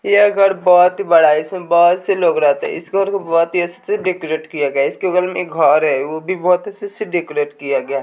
ये घर बहुत ही बड़ा है इसमें बहोत से लोग रहते हैं इस घर को बहोत ही अच्छे से डेकोरेट किया गया है इसके बगल में एक घर है वो भी बहोत अच्छे से डेकोरेट किया गया है।